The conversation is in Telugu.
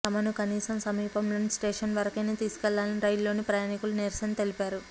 తమను కనీసం సమీపంలోని స్టేషన్ వరకైనా తీసుకెళ్లాలని రైళ్లలోని ప్రయాణికులు నిరసన తెలిపారు